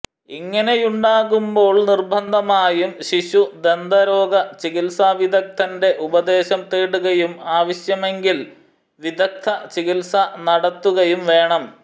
ഇങ്ങനെയുണ്ടാകുമ്പോൾ നിർബന്ധമായും ശിശു ദന്തരോഗ ചികിത്സാവിദഗ്ദ്ധന്റെ ഉപദേശം തേടുകയും ആവശ്യമെങ്കിൽ വിദഗ്ദ്ധചികിത്സ നടത്തുകയും വേണം